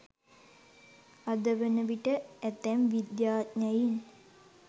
අද වන විට ඇතැම් විද්‍යාඥයින්